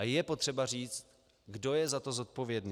A je potřeba říct, kdo je za to zodpovědný.